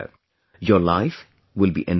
Your life will be enriched